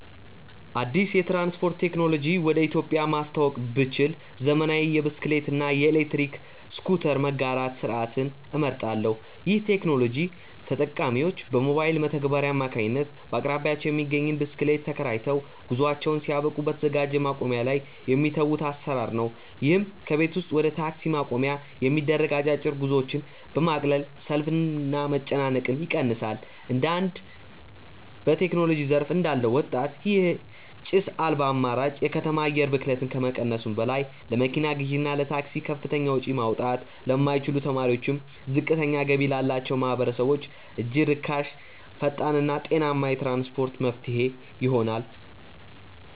አዲስ የትራንስፖርት ቴክኖሎጂ ወደ ኢትዮጵያ ማስተዋወቅ ብችል፣ ዘመናዊ የብስክሌት እና የኤሌክትሪክ ስኩተር መጋራት ስርዓትን እመርጣለሁ። ይህ ቴክኖሎጂ ተጠቃሚዎች በሞባይል መተግበሪያ አማካኝነት በአቅራቢያቸው የሚገኝን ብስክሌት ተከራይተው፣ ጉዟቸውን ሲያበቁ በተዘጋጀ ማቆሚያ ላይ የሚተዉበት አሰራር ነው። ይህም ከቤት ወደ ታክሲ ማቆሚያ የሚደረጉ አጫጭር ጉዞዎችን በማቅለል ሰልፍንና መጨናነቅን ይቀንሳል። እንደ አንድ በቴክኖሎጂ ዘርፍ እንዳለ ወጣት፣ ይህ ጭስ አልባ አማራጭ የከተማ አየር ብክለትን ከመቀነሱም በላይ፣ ለመኪና ግዢና ለታክሲ ከፍተኛ ወጪ ማውጣት ለማይችሉ ተማሪዎችና ዝቅተኛ ገቢ ላላቸው ማህበረሰቦች እጅግ ርካሽ፣ ፈጣንና ጤናማ የትራንስፖርት መፍትሄ ይሆናል።